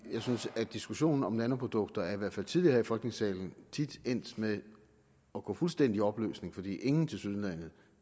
jeg synes at diskussionen om nanoprodukter i hvert fald tidligere her i folketingssalen tit endt med at gå fuldstændig i opløsning fordi ingen overhovedet tilsyneladende